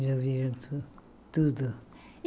Eles ouviram tu tudo.